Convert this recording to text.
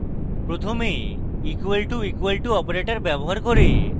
প্রথমে == equal to equal to operator ব্যবহার করে